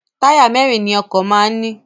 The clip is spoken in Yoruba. Táyà mẹ́ẹ́rin ni ọkọ̀ máa ń ní